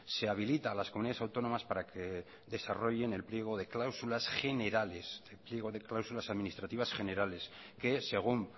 se habilita a las comunidades autónomas para que desarrollen el pliego de cláusulas generales el pliego de cláusulas administrativas generales que según